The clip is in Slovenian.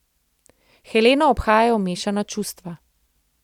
Heleno obhajajo mešana čustva.